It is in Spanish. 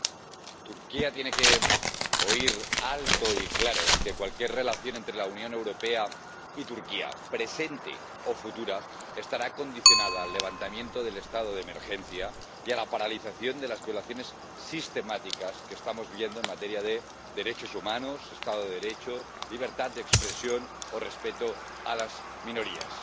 Señora presidenta, Turquía tiene que oír alto y claro que cualquier relación entre la Unión Europea y Turquía, presente o futura, estará condicionada al levantamiento del estado de emergencia y a la paralización de las violaciones sistemáticas que estamos viviendo en materia de derechos humanos, Estado de Derecho, libertad de expresión o respeto a las minorías.